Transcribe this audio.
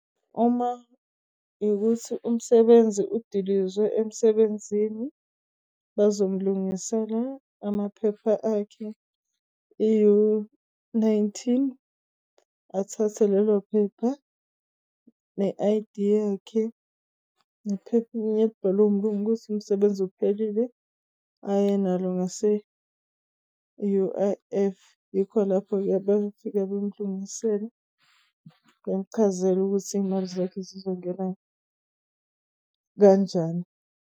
Uma ukuthi umsebenzi udilizwe emsebenzini bazom'lungisela amaphepha akhe i-U-nineteen, athathe lelophepha ne-I_D yakhe nephepha elbhalwe umlungu ukuthi umsebenzi uphelile, ayenalo ngase e-U_I_F yikho lapho-ke befika bemlungisela. Ngiyakuchazela ukuthi iy'mali zakho zizongena kanjani.